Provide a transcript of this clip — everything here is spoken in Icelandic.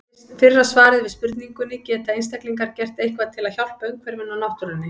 Fyrra svarið er við spurningunni Geta einstaklingar gert eitthvað til að hjálpa umhverfinu og náttúrunni?